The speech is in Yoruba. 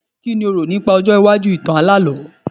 Kí lo rò nípa ọjọ́ iwájú ìtàn alálọ̀ọ́?